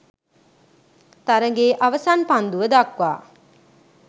තරගයේ අවසන් පන්දුව දක්වා